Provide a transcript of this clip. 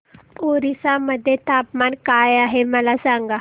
ओरिसा मध्ये तापमान काय आहे मला सांगा